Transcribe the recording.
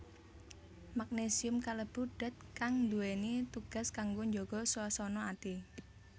Magnésium kalebu dat kang nduwèni tugas kanggo njaga swasana ati